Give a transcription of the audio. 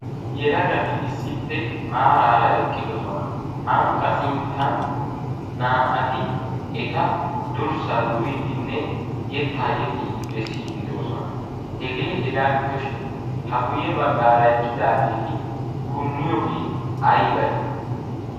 yelagati issippe maaraara eqqidosona. hanqqa sinttan naa'ati eta durssaa duriiddinne yettaa yexxiiddi bessiiddidoosona. hegee hegaa gidoshin ha guyye baggaara eqqidaageeti punniyoogie aybee?